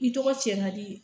I tɔgɔ cɛnna de